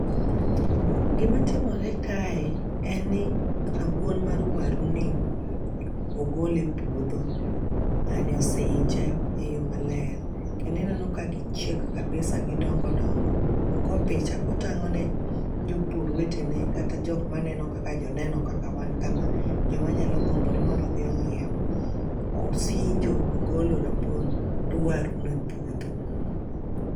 Gima timore kae en ni rabuon mar waruni ogole epuodho. Ng'ani osinje eyoo maler. Kendo ineno ka gi chiek kabisa gidongo dongo .Ogo picha kotang'one jopur wetene kata jok maneno kaka joneno kaka wan kama. Joma nyalo gombo ni mondo odhi ong'iew. Osinjo ogolo rabuond waruno epuodho.